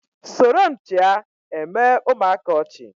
soromchịa eme ụmụaka ọchị